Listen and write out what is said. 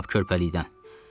Lap körpəlikdən.